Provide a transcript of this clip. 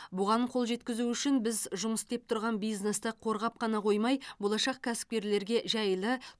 бұған қол жеткізу үшін біз жұмыс істеп тұрған бизнесті қорғап қана қоймай болашақ кәсіпкерлерге жайлы